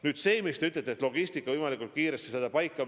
Nüüd see, mis te ütlesite, et logistika tuleb võimalikult kiiresti paika saada.